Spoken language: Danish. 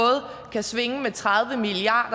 kan det svinge med tredive milliard